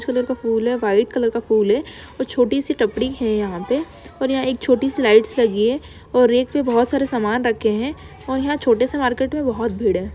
फूल है white colour का फूल है और छोटी सी टपड़ी है यहाँ पे और यहाँ एक छोटी सी लाइट्स लगी हैं और एक पे बहुत सारे सामान रखे हैं और यहाँ छोटे से मार्केट में बहुत भीड़ है।